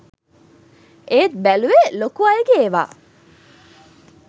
ඒත් බැලුවේ ලොකු අයගේ ඒව